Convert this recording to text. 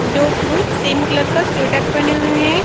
दो पुरुष same colour का स्वेटर पहने हुए है।